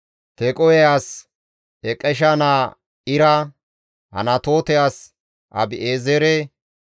Tequhe as Iqesha naa Ira, Anatoote as Abi7eezere,